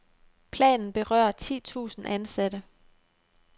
Planen berører ti tusind ansatte.